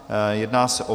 Jedná se o